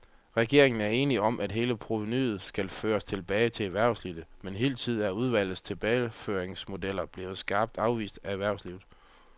Regeringen er enig om, at hele provenuet skal føres tilbage til erhvervslivet, men hidtil er udvalgets tilbageføringsmodeller blevet skarpt afvist af erhvervslivet.